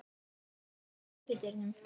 Per, læstu útidyrunum.